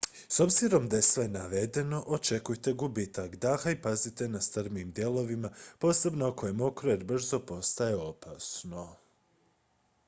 s obzirom na sve navedeno očekujte gubitak daha i pazite na strmijim dijelovima posebno ako je mokro jer brzo postaje opasno